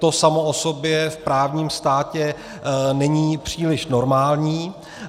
To samo o sobě v právním státě není příliš normální.